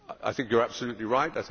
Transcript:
I think you are absolutely right.